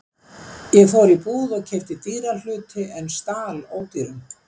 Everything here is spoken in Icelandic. Ég fór í búð og keypti dýra hluti en stal ódýrum.